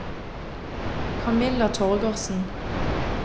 Kamilla Torgersen